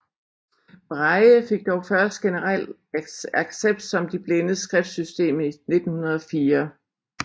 Braille fik dog først generel accept som de blindes skriftsystem i 1904